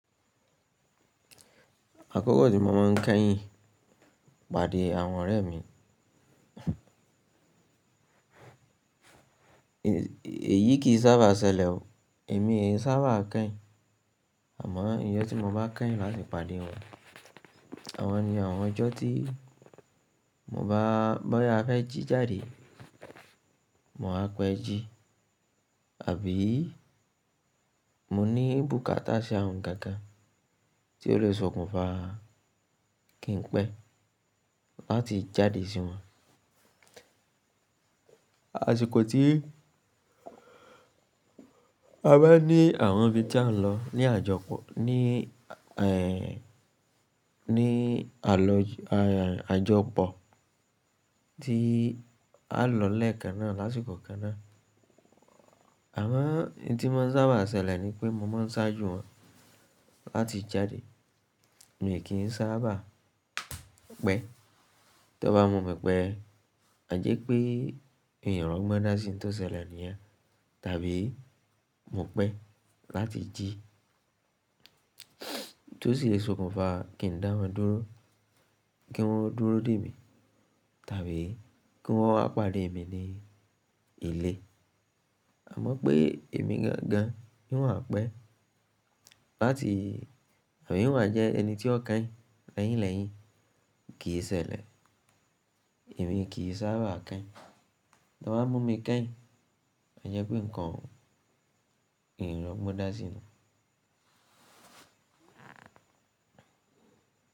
Àkókò tí mo máa ń kẹ́yìn pàdé àwọn ọ̀rẹ́ mi, èyí kì í sábà ṣẹlẹ̀ o. Èmi o í sábà kẹ́yìn. Àmọ́ ijọ tí mo bá kẹ́yìn mále pàdé wọn, àwọn ni àwọn ọjọ́ tí mo bá bọ́yá afẹ́ jí jáde, mo wá pẹ́ jí àbí mo ní bùkátà sí awon ohun kan kan tí ó lè sọkùn fa kí n pẹ́ láti jáde sí wọn. Àṣìkò tí a bá ní àwọn ibi tí à ń lọ ní àjọpọ̀, ní àlọ́ àjọpọ̀ tí a lọ lẹ́ẹ̀kan náà lásìkò kan náà, àwọn ohun tí máa ń sábà ṣẹlẹ̀ ni pé mo máa ń ṣáájú wọn láti jáde. Èmi kì í sábà pẹ́. To bá mu mi pẹ́, àjẹ́ pé n rọ́gbọ́ndà sí ohun tó ṣẹlẹ̀ níyẹn tàbí mo pẹ́ láti jí tó sì lè sọkùn fa kí ń dáwọn dúró, kí wọ́n ó dúró dè mí tàbí kí wọ́nwa pàdé mi ní ilé. Àmọ́ pé èmi gangan n owá pẹ́ láti àbí n owa jẹ ẹni tí ó kẹ́yìn lẹ́yìn lẹ́yìn kì í ṣẹlẹ̀. Èmi kì í sábà kẹ́yìn. Tọ́ bá mú mi kẹ́yìn, àjẹ́ pé nǹkan n rọ́gbọ́ndà sì ni.